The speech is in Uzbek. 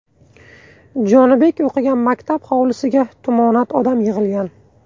Jonibek o‘qigan maktab hovlisiga tumonat odam yig‘ilgan.